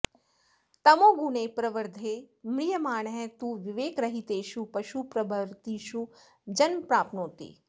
तमोगुणे प्रवृद्धे म्रियमाणः तु विवेकरहितेषु पशुप्रभृतिषु जन्म प्राप्नोति